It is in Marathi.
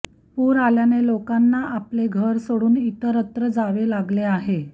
पूर आल्याने लोकांना आपले घर सोडून इतरत्र जावे लागले आहे